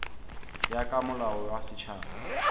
ya ka molao wa setšhaba